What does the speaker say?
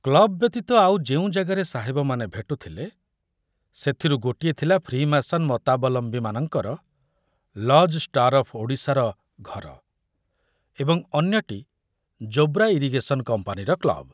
Club ବ୍ୟତୀତ ଆଉ ଯେଉଁ ଜାଗାରେ ସାହେବମାନେ ଭେଟୁଥିଲେ ସେଥୁରୁ ଗୋଟିଏ ଥଲା ଫ୍ରିମାସନ ମତାବଲମ୍ବୀମାନଙ୍କର ' ଲଜ ଷ୍ଟାର ଅଫ ଓଡ଼ିଶା'ର ଘର ଏବଂ ଅନ୍ୟଟି ଯୋବ୍ରା ଇରିଗେଶନ କମ୍ପାନୀର କ୍ଲବ।